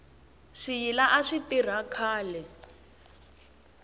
swiyila a swi tirha khale